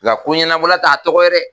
La ko ɲɛnabolo t'a tɔgɔ ye dɛ!